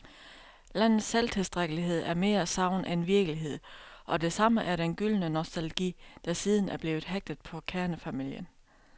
Landets selvtilstrækkelighed er mere sagn end virkelighed, og det samme er den gyldne nostalgi, der siden er blevet hægtet på kernefamilien.